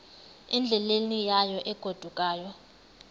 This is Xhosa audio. endleleni yayo egodukayo